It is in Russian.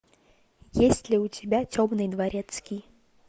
есть ли у тебя темный дворецкий